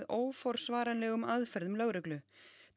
óforsvaranlegum aðferðum lögreglu